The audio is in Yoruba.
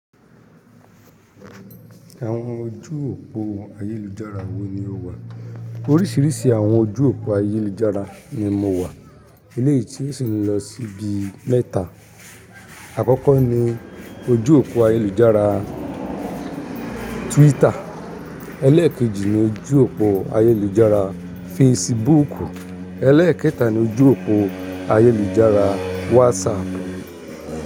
Àwọn ojú òpó ayélujára wo ni ó wà? Oríṣiríṣi àwọn ojú òpó ayélujára ni mo wà. Eléyi tí osì lọ síbi mẹ́ta. Àkọ́kọ́ ni ojú òpó ayélujára Twitter, ẹlẹ́ẹ̀kejì ni ojú òpó ayélujára Facebook, ẹlẹ́ẹ̀kẹta ni ojú òpó ayélujára WhatsApp.